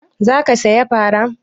Za ka saya fara?